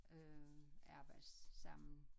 Øh arbejde sammen